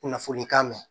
Kunnafoni kan mɛn